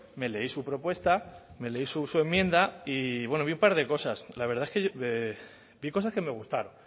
me leí su propuesta me leí su enmienda y bueno vi un par de cosas la verdad es que vi cosas que me gustaron